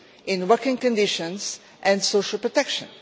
on working conditions and social protection.